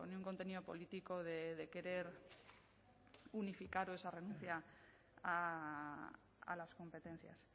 un contenido político de querer unificar o esa renuncia a las competencias